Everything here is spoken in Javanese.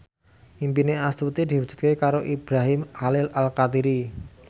impine Astuti diwujudke karo Ibrahim Khalil Alkatiri